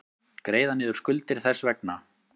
Greiða niður skuldir þess vegna.